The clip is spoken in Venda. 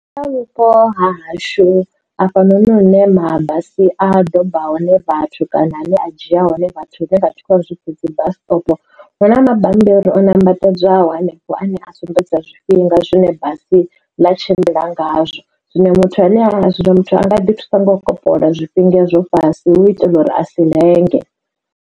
Kha vhupo ha hashu afhanoni hune mabasi a doba hone vhathu kana ane a dzhia hone vhathu hune vhathu vha hu vhidza uri dzi bus stop. Hu na mabammbiri o nambatedzwaho hanefho ane a sumbedza zwifhinga zwine basi ḽi tshimbila ngazwo zwino muthu ane a muthu anga ḓi thusa nga u kopolola zwifhinga ezwo fhasi hu itela uri a si lenge.